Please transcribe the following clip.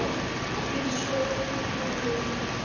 Þinn sonur Kári.